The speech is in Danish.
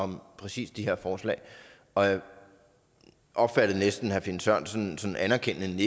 om præcis de her forslag og jeg opfattede næsten herre finn sørensens sådan anerkendende nik